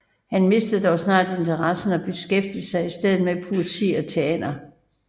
Han mistede dog snart interessen og beskæftigede sig i stedet med poesi og teater